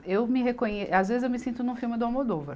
Eu me reconhe, às vezes eu me sinto num filme do Almodóvar.